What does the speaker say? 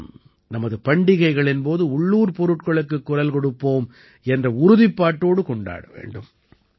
நாம் நமது பண்டிகைகளின் போது உள்ளூர் பொருட்களுக்குக் குரல் கொடுப்போம் என்ற உறுதிப்பாட்டோடு கொண்டாட வேண்டும்